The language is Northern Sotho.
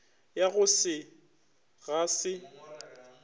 ya go se ga se